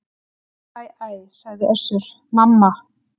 Æ æ æ, sagði Össur-Mamma.